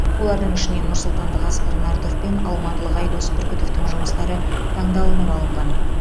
олардың ішінен нұрсұлтандық асқар нартов пен алматылық айдос бүркітовтің жұмыстары таңдалынып алынған